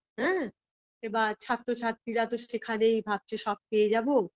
হুম এবার ছাত্রছাত্রীরা তো সেখানেই ভাবছে সব পেয়ে যাব